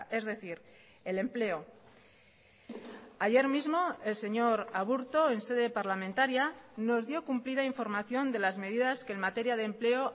es decir el empleo ayer mismo el señor aburto en sede parlamentaria nos dio cumplida información de las medidas que en materia de empleo